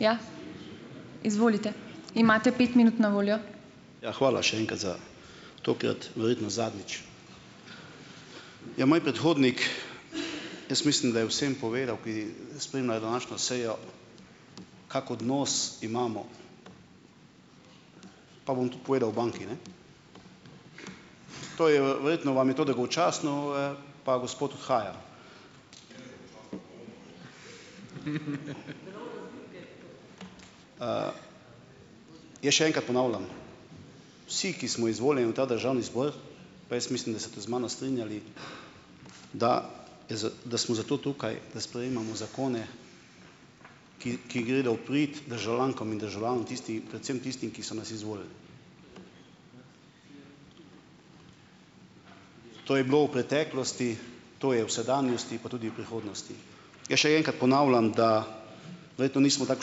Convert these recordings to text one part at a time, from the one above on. Ja, hvala še enkrat za, tokrat verjetno zadnjič. Ja, moj predhodnik, jaz mislim, da je vsem povedal, ki spremljajo današnjo sejo, kak odnos imamo, pa bom tu povedal o banki, ne. To je, verjetno vam je to dolgočasno ue, pa gospod odhaja. Jaz še enkrat ponavljam, vsi, ki smo izvoljeni v ta državni zbor, pa jaz mislim, da se boste z mano strinjali, da smo zato tukaj, da sprejemamo zakone, ki ki gredo v prid državljankam in državljanom, tisti predvsem tistim, ki so nas izvolili. To je bilo v preteklosti, to je v sedanjosti pa tudi v prihodnosti. Jaz še enkrat ponavljam, da verjetno nismo tako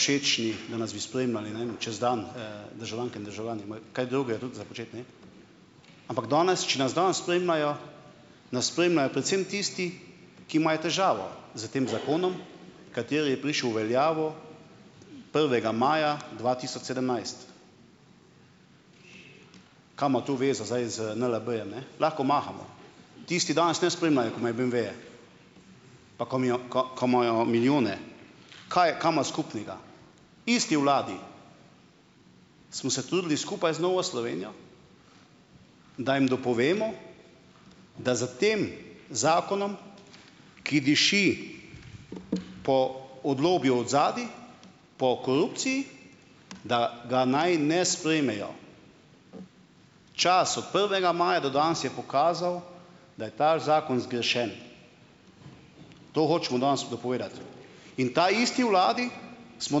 všečni, da nas bi spremljali, ne vem, čez dan, državljanke in državljani. Imajo kaj drugega tudi za početi, ne. Ampak danes, če nas danes spremljajo, nas spremljajo predvsem tisti, ki imajo težavo s tem zakonom, kateri je prišel v veljavo prvega maja dva tisoč sedemnajst. Kaj ima to zveze zdaj z NLB-jem? Lahko mahamo. Tisti danes ne spremljajo, ko imajo beemveje, ka imajo milijone. Kaj ka ima skupnega? Isti vladi, smo se trudili skupaj z Novo Slovenijo, da jim dopovemo, da za tem zakonom, ki diši po, od lobijev odzadaj, po korupciji, da ga naj ne sprejmejo. Čas od prvega maja do danes je pokazal, da je ta zakon zgrešen. To hočemo danes dopovedati. In taisti vladi smo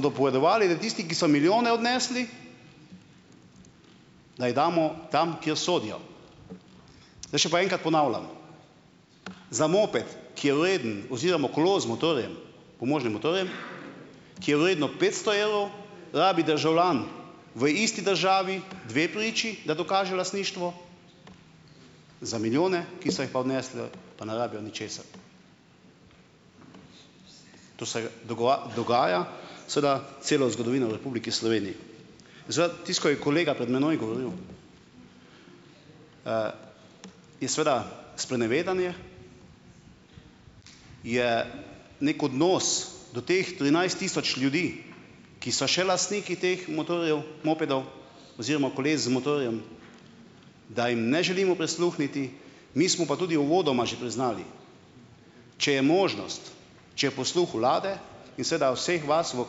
dopovedovali, da tisti, ki so milijone odnesli, da jih damo tam, kjer sodijo. Zdaj še pa enkrat ponavljam. Za moped, ki je vreden oziroma kolo z motorjem, pomožnim motorjem, ki je vredno petsto evrov, rabi državljan v isti državi dve priči, da dokaže lastništvo, za milijone, ki so jih pa odnesle, pa ne rabijo ničesar. To se dogaja, seveda, celo zgodovino v Republiki Sloveniji. tisto, ko je kolega pred mano govoril, in seveda sprenevedanje, je neki odnos do teh trinajst tisoč ljudi, ki so še lastniki teh motorjev, mopedov oziroma koles z motorjem, da jim ne želimo prisluhniti, mi smo pa tudi uvodoma že priznali, če je možnost, če je posluh vlade in seveda vseh nas v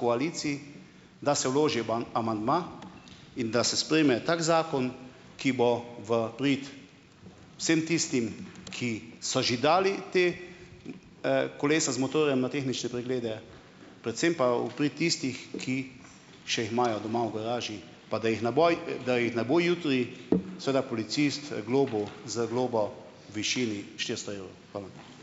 koaliciji, da se vloži amandma in da se sprejme tak zakon, ki bo v prid vsem tistim, ki so že dali ta kolesa z motorjem na tehnične preglede, predvsem pa v prid tistih, ki še jih imajo doma v garaži. Pa da jih na boj, da jih ne bo jutri seveda policist globil z globo v višini štiristo evrov. Hvala.